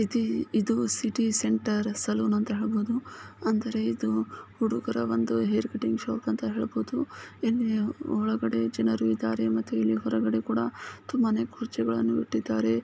ಇದು city centre salon ಅಂತಾನು ಹೇಳಬಹುದು ಅಂದ್ರೆ ಇದು ಹುಡುಗರ ಒಂದೂ ಹೇರ್ ಕಟಿಂಗ್ ಶಾಪ್ ಅಂತಾನೇ ಹೇಳಬಹುದು ಒಳಗಡೆ ಜನರು ಇದ್ದಾರೆ ಹೊರಗಡೆ ಕೂಡ ತುಂಬಾ ಕುರ್ಚಿಗಳನ್ನು ಇಟ್ಟಿದ್ದಾರೆ.